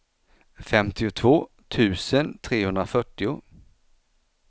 femtiotvå tusen trehundrafyrtio